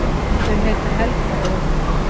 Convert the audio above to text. Þau heita Helga og